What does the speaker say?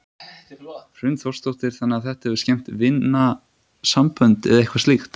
Hrund Þórsdóttir: Þannig að þetta hefur skemmt vinasambönd eða eitthvað slíkt?